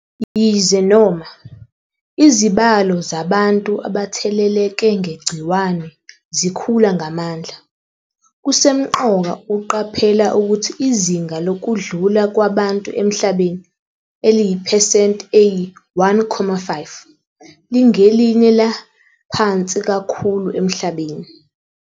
Yize noma, izibalo zabantu abatheleleke ngegciwane zikhula ngamandla, kusemqoka ukuqaphela ukuthi izinga lokudlula kwabantu emhlabeni eliyi-phesenti eyi-1.5 lingelinye laphansi kakhulu emhlabeni.